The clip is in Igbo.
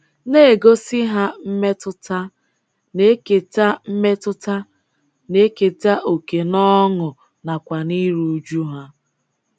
Na-egosi ha mmetụta, na-eketa mmetụta, na-eketa oke n’ọṅụ nakwa n’iru uju ha.